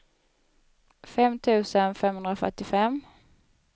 fem tusen femhundrafyrtiofem